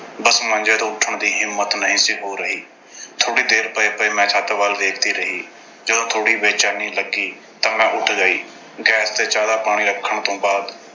ਬੱਸ ਮੰਜੇ ਤੋਂ ਉੱਠਣ ਦੀ ਹਿੰਮਤ ਨਹੀਂ ਸੀ ਹੋ ਰਹੀ। ਥੋੜ੍ਹੀ ਦੇਰ ਪਏ-ਪਏ ਮੈਂ ਛੱਤ ਵੱਲ ਵੇਖਦੀ ਰਹੀ। ਜਦੋਂ ਥੋੜ੍ਹੀ ਬੇਚੈਨੀ ਲੱਗੀ ਤਾਂ ਮੈਂ ਉੱਠ ਗਈ। gas ਤੇ ਚਾਹ ਦਾ ਪਾਣੀ ਰੱਖਣ ਤੋਂ ਬਾਅਦ